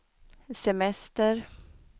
semester